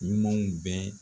Ɲumanw bɛɛ